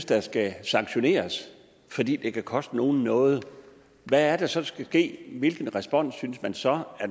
der skal sanktioneres fordi det kan koste nogen noget hvad er det så der skal ske hvilken respons synes man så at